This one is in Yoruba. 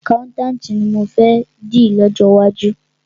Àkáùntànti ni mọ fẹ́ di lọ́jọ́ iwájú.